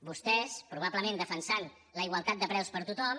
vostès probablement defensant la igualtat de preus per a tothom